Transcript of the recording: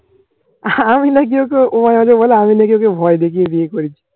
আমি নাকি ওকে ও মাঝে মাঝে বলে আমি নাকি ওকে ভয় দেখিয়ে বিয়ে করেছি।